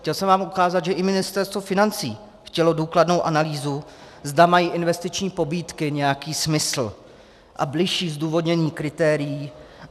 Chtěl jsem vám ukázat, že i Ministerstvo financí chtělo důkladnou analýzu, zda mají investiční pobídky nějaký smysl, a bližší zdůvodnění kritérií.